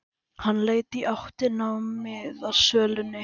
Hann leit í áttina að miðasölunni.